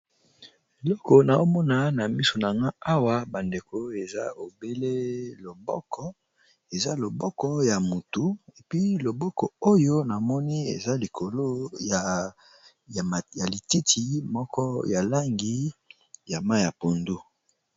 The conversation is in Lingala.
Eloko , na omona na miso na nga awa ! bandeko eza obele loboko , eza loboko ya motu epi loboko oyo ! namoni eza likolo ya lititi moko ya langi ya mayi ya pondu .